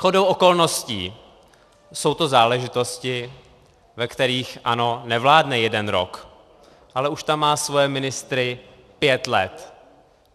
Shodou okolností jsou to záležitosti, ve kterých ANO nevládne jeden rok, ale už tam má svoje ministry pět let.